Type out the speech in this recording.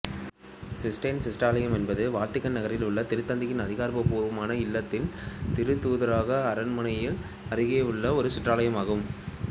cysteine சிற்றாலயம் என்பது Vatican நகரில் உள்ள திருத்தந்தையின் அதிகாரப்பூர்வ இல்லமான திருத்தூதரக அரண்மனையின் அருகே உள்ள ஒரு சிற்றாலயமாகும்